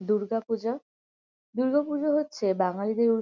দুর্গাপূজা । দুর্গাপূজা হচ্ছে বাঙালিদের উ --